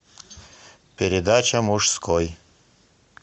передача мужской